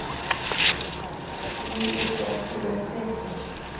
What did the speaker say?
Því yrði ekki vel tekið.